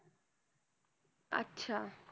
अच्छा!